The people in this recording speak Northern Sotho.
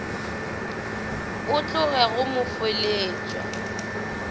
a tlogo go mo feleletša